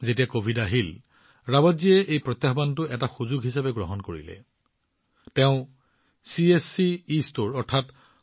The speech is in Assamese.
যেতিয়া কভিড আহিছিল ৰাৱাটজীয়ে এই প্ৰত্যাহ্বানটো কঠিন হিচাপে নহয় কিন্তু এটা সুযোগ হিচাপে লৈছিল